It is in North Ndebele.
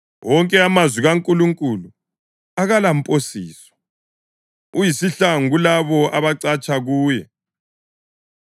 Wonke amazwi kaNkulunkulu akalamposiso; uyisihlangu kulabo abacatsha kuye.